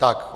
Tak.